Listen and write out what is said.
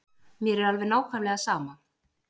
Mér er alveg nákvæmlega sama.